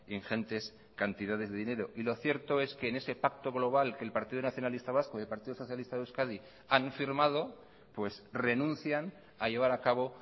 ingentes cantidades de dinero y lo cierto es que en ese pacto global que el partido nacionalista vasco y el partido socialista de euskadi han firmado pues renuncian a llevar a cabo